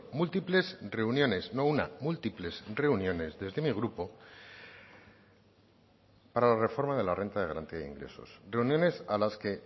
múltiples reuniones no una múltiples reuniones desde mi grupo para la reforma de la renta de garantía de ingresos reuniones a las que